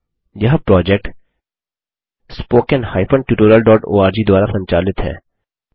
यह project httpspoken tutorialorg द्वारा संचालित है